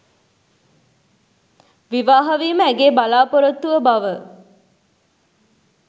විවාහ වීම ඇගේ බලා‍පොරොත්තුව බව